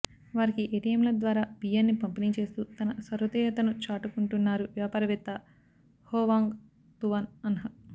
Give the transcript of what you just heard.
వారికి ఏటీఎంల ద్వారా బియ్యాన్ని పంపిణీ చేస్తూ తన సహృదయతను చాటుకుంటున్నారు వ్యాపార వేత్త హోవాంగ్ తువాన్ అన్హ్